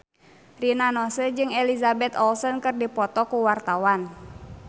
Rina Nose jeung Elizabeth Olsen keur dipoto ku wartawan